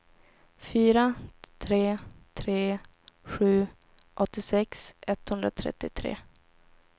fyra tre tre sju åttiosex etthundratrettiotre